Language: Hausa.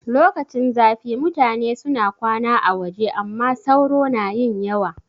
Lokacin zafi mutane suna kwana a waje amma sauro na yin yawa